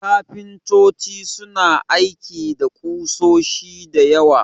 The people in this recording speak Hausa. Kafintoci suna aiki da ƙusoshi da yawa.